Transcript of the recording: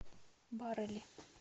барели